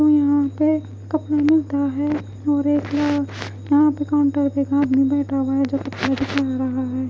यहाँ पे कपड़ा मिलता है और एक यहाँ यहां पे काउंटर के एक आदमी बैठा हुआ है जो दिखा रहा है।